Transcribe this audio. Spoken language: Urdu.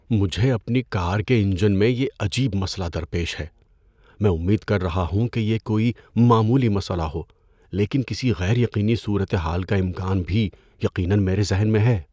مجھے اپنی کار کے انجن میں یہ عجیب مسئلہ درپیش ہے۔ میں امید کر رہا ہوں کہ یہ کوئی معمولی مسئلہ ہو لیکن کسی غیر یقینی صورت حال کا امکان بھی یقیناً میرے ذہن میں ہے۔